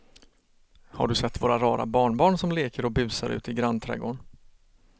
Har du sett våra rara barnbarn som leker och busar ute i grannträdgården!